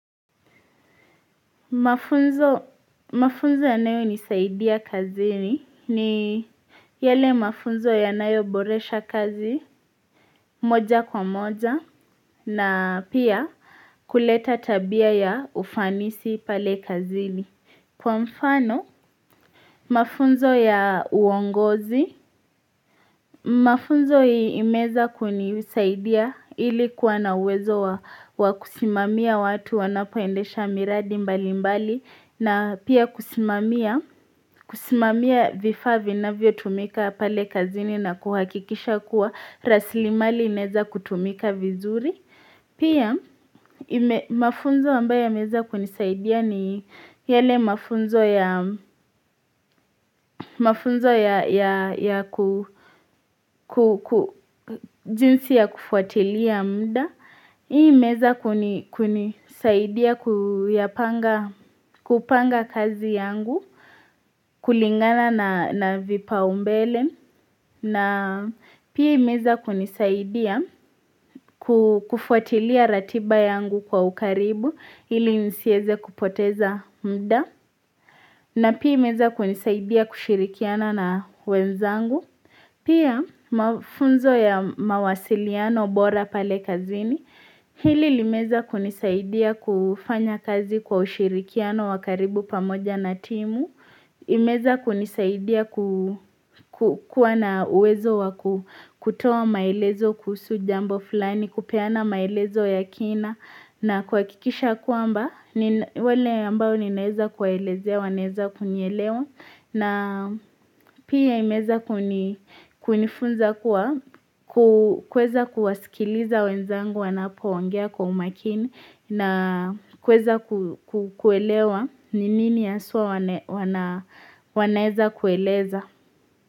Mafunzo ya nayo nisaidia kazini ni yale mafunzo ya nayo boresha kazi moja kwa moja na pia kuleta tabia ya ufanisi pale kazini kwa mfano mafunzo ya uongozi Mafunzo imeza kunisaidia ilikuwa na uwezo wakusimamia watu wanapoendesha miradi mbali mbali na pia kusimamia vifaa na vio tumika pale kazini na kuhakikisha kuwa rasilimali ineza kutumika vizuri Pia mafunzo wamba ya meza kunisaidia ni yale mafunzo ya kujinsi ya kufuatilia muda. Hii meza kunisaidia kupanga kazi yangu kulingana na vipaumbele. Na pia imeza kunisaidia kufuatilia ratiba yangu kwa ukaribu hili nisieze kupoteza muda na pia imeeza kunisaidia kushirikiana na wenzangu Pia mafunzo ya mawasiliano bora pale kazini hili limeza kunisaidia kufanya kazi kwa ushirikiano wakaribu pamoja na timu Imeza kunisaidia kuwa na uwezo wa kutoa maelezo kuhusu jambo fulani, kupeana maelezo ya kina na kwa kikisha kuamba wale ambao ninaeza kuwaelezea, waneza kunyelewa na pia imeza kunifunza kuwa kuweza kuwasikiliza wenzangu wanapo wangea kwa umakini na kweza kuelewa ni mimi ya aswa wanaeza kueleza.